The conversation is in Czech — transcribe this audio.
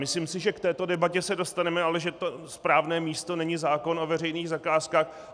Myslím si, že k této debatě se dostaneme, ale že to správné místo není zákon o veřejných zakázkách.